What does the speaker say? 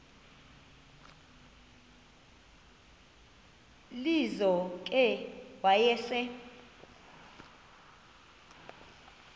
lizo ke wayesel